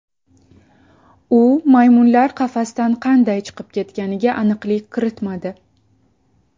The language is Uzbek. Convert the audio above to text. U maymunlar qafasdan qanday chiqib ketganiga aniqlik kiritmadi.